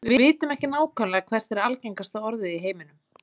við vitum ekki nákvæmlega hvert er algengasta orðið í heiminum